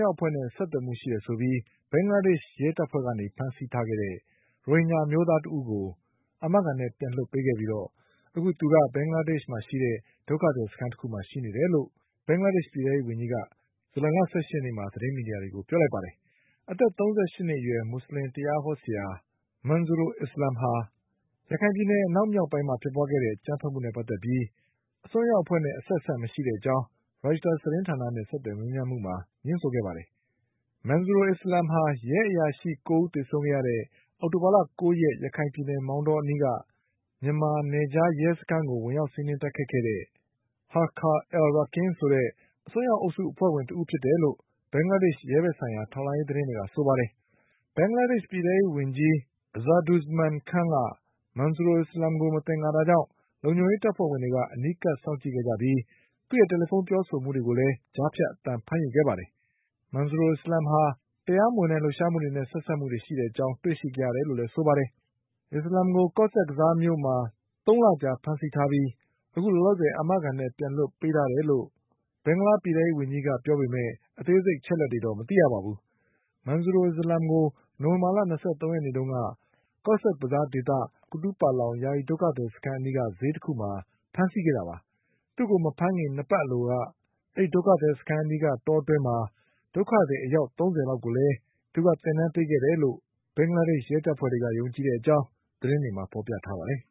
ရောက်အဖွဲ့နဲ့ ဆက်သွယ်မှု ရှိတယ်ဆိုပြီး ဘင်္ဂလားဒေ့ရှ် ရဲတပ်ဖွဲ့က ဖမ်းဆီးခဲ့တဲ့ ရိုဟင်ဂျာ အမျိုးသားတဦးကို အာမခံနဲ့ ပြန်လွှတ်ပေးခဲ့ပြီး သူက အခု ဘင်္ဂလားဒေ့ရှ်မှာ ရှိတဲ့ ဒုက္ခသည် စခန်းတခုမှာ ရှိနေတယ်လို့ဘင်္ဂလားဒေ့ရှ် ပြည်ထဲရေး ဝန်ကြီးက ဇူလိုင်လ ၁၈ ရက်နေ့မှာ သတင်း မီဒီယာကို ပြောလိုက်ပါတယ်။ အသက် ၃၈ နှစ် အရွယ် မူဆလင် တရားဟောဆရာ Manzurul Islam မန်ဇူရို အစ္စလာမ်က ရခိုင်ပြည်နယ် အနောက်မြောက်ပိုင်းမှာ ဖြစ်ပွါးခဲ့တဲ့ အကြမ်းဖက်မှုနဲ့ ပတ်သက်လို့အစွန်းရောက် အဖွဲ့နဲ့အဆက်အစပ် မရှိကြောင်း ရိုက်တာစ် သတင်းဌာနနဲ့ ဆက်သွယ်မေးမြန်းမှုမှာ ငြင်းဆိုခဲ့ပါတယ်။ မန်ဇူရို အစ္စလာမ်ဟာ ရဲအရာရှိ ၉ ဦး သေဆုံးခဲ့တဲ့ အောက်တိုဘာလ ၉ ရက် ရခိုင်ပြည်နယ် မောင်တောအနီး မြန်မာနယ်ခြား ရဲစခန်းကို ဝင်ရောက်စီးနင်း တိုက်ခိုက်ခဲ့တဲ့ Harakah Al- yaqin ဟာရခါ အလ် ရာကင်း အစွန်းရောက် အုပ်စု အဖွဲ့ဝင်တဦး ဖြစ်တယ်လို့ဘင်္ဂလားဒေ့ရှ် ရဲဘက်ဆိုင်ရာ ထောက်လှမ်းရေး သတင်းတွေက ဆိုပါတယ်။ ဘင်္ဂလားဒေ့ရှ် ပြည်ထဲရေးဝန်ကြီး Asaduzzaman Khan အဇာဒူဇမန် ခန်းက မန်ဇူရို အစ္စလာမ်ကို မသင်္ကာတာကြောင့် လုံခြုံရေးတပ်ဖွဲ့ဝင်တွေက အနီးကပ် စောင့်ကြည့် ခဲ့ကြပြီး တလ်လီဖုန်း ပြောဆိုမှုတွေကိုလည်း ကြားဖြတ် အသံဖမ်းယူ ခဲ့ပါတယ်။ မန်ဇူရို အစ္စလာမ်ဟာ တရားမဝင်တဲ့ လှုပ်ရှားမှုတွေနဲ့ဆက်စပ်မှု ရှိကြောင်း တွေ့ရှိခဲ့တယ်လို့ ပြောပါတယ်။ မန်ဇူရို အစ္စလာမ်ကို ကော့ဇ်ဘဇားမြို့မှာ ၃ လကြာ ဖမ်းဆီးထားပြီး အခု လောလောဆယ် အာမခံနဲ့ပြန်လွှတ်ထား ပေးတယ်လို့ဘင်္ဂလားဒေရှ့် ပြည်ထဲရေးဝန်ကြီးက ပြောပေမဲ့ အသေးစိတ် အချက်အလက် တွေတော့ မသိရပါဘူး။ မန်ဇူရို အစ္စလာမ်ကို နိုဝင်ဘာလ ၂၃ ရက်နေ့ တုန်းက ကော့ဇ်ဘဇား ဒေသ ကူတူးပါလောင် ယာယီ ဒုက္ခသည် စခန်းအနီးက ဈေးတခုမှာ ဖမ်းဆီးခဲ့တာပါ။ သူ့ကို မဖမ်းခင် ၂ ပတ် အလိုက စခန်းအနီးက တောအတွင်းမှာ ဒုက္ခသည် အယောက် ၃၀ လောက်ကိုလည်း သင်တန်းပေးခဲ့တယ် လို့လည်း ဘင်္ဂလားဒေ့ရှ် ရဲတပ်ဖွဲ့က ယုံကြည်တဲ့ အကြောင်း သတင်းတွေမှာ ဖေါ်ပြထားပါတယ်